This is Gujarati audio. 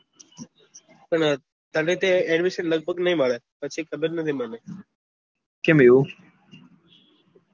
પણ તને ત્યાં admission લગભગ નહિ મળે પછી ખબર નથી મને કેમ એવું